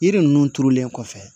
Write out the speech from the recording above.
Yiri ninnu turulen kɔfɛ